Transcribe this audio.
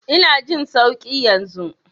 Ina jin sauƙi yanzu.